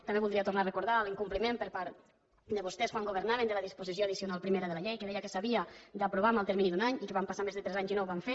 també voldria tornar a recordar l’incompliment per part de vostès quan governaven de la disposició addicional primera de la llei que deia que s’havia d’aprovar en el termini d’un any i que van passar més de tres anys i no ho van fer